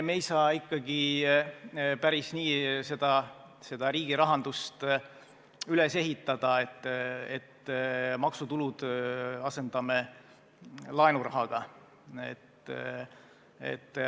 Me ei saa ikkagi päris nii riigirahandust üles ehitada, et maksutulud asendame laenurahaga.